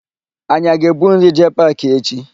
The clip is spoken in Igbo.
Anyị aga ebu nri jee paakị echi?